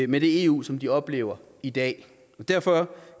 med det eu som de oplever i dag derfor